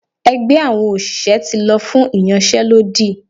ẹgbẹ àwọn òṣìṣẹ́ ti lọ fún iyánsé lódí